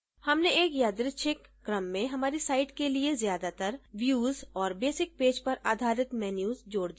हमने एक यादृच्छिक क्रम में हमारी site के लिए ज्यादातर views और basic पेज पर आधारित menus जोड़ दिये हैं